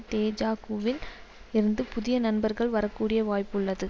தேஜகூ வில் இருந்து புதிய நண்பர்கள் வரக்கூடிய வாய்ப்பு உள்ளது